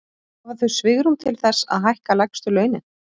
Hafa þau svigrúm til þess að hækka lægstu launin?